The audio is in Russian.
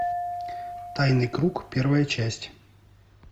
тайный круг первая часть